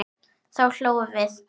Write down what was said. Þá hlógum við.